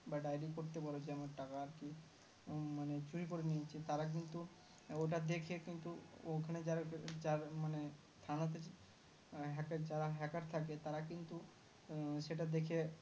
বা Diary করতে পারো যে আমার টাকা আরকি চুরি ক্যরে নিয়েছে তারা কিন্তু ওটা দেখে কিন্তু ওখানে যারা মানে থানা তে hacker যারা Hacker থাকে তারা কিন্তু সেটা দেখে বলেদেয়